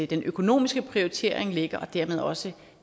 den økonomiske prioritering ligger og dermed også